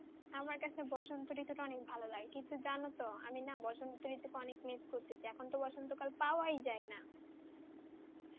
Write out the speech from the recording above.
আমার কাছে বসন্ত ঋতু অনেক ভালো লাগে কিন্তু যান তো আমি না বসন্ত ঋতু অনেক miss করতেছি এখনতো বসন্ত কাল পাওয়া যায় না